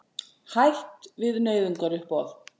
Hætt við nauðungaruppboð